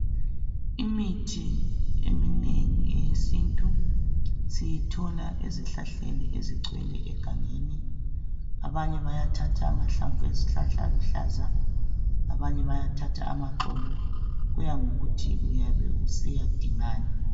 Imithi eminengi eyesintu siyithola ezihlahleni ezigcwele egangeni abanye bayathatha amahlamvu ezihlahla aluhlaza abanye bayathatha amaxolo kuyangokuthi uyabe usiyadingani